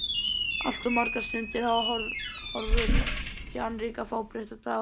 Allt of margar stundir hafa horfið í annríki fábreyttra daga.